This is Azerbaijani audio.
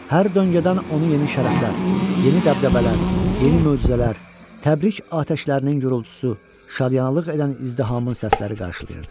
Hər döngədən onu yeni şərəflər, yeni dəbdəbələr, yeni möcüzələr, təbrik atəşlərinin gurultusu, şadyanalıq edən izdihamın səsləri qarşılayırdı.